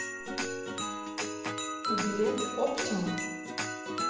билет оптимум